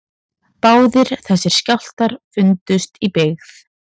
Báðir þessir skjálftar fundust í byggð